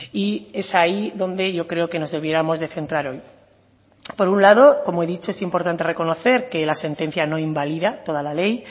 y es ahí donde yo creo que nos debiéramos de centrar hoy por un lado como he dicho es importante reconocer que la sentencia no invalida toda la ley